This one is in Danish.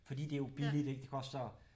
Fordi det er jo billigt ik det koster